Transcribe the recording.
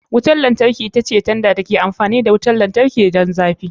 Wutar lantarki ita ce tanda da ke amfani da wutar lantarki don zafi.